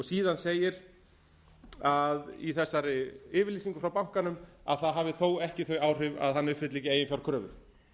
síðan segir í þessari yfirlýsingu frá bankanum að það hafi þó ekki þau áhrif að hann uppfylli ekki eiginfjárkröfur